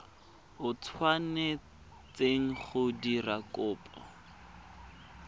o tshwanetseng go dira kopo